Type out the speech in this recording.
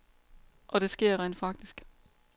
Og det sker rent faktisk.